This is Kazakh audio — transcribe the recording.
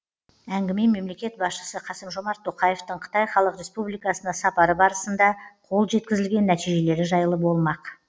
әңгіме мемлекет басшысы қасым жомарт тоқаевтың қытай халық республикасына сапары барысында қол жеткізілген нәтижелері жайлы болмақ